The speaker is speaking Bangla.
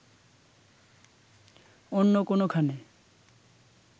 অন্য কোনোখানে